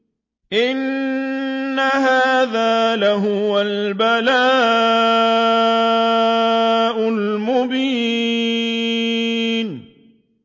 إِنَّ هَٰذَا لَهُوَ الْبَلَاءُ الْمُبِينُ